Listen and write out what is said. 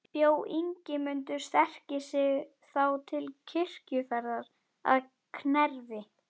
Bjó Ingimundur sterki sig þá til kirkjuferðar að Knerri.